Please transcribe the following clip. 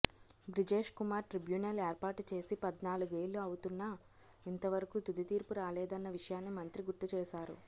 Brijesh Kumar tribunal ఏర్పాటు చేసి పద్నాలుగేళ్లు అవుతున్నా ఇంతవరకు తుది తీర్పు రాలేదన్న విషయాన్ని మంత్రి గుర్తుచేశారు